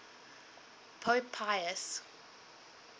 pope pius